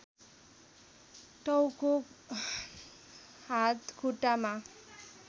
टाउको हात खुट्टामा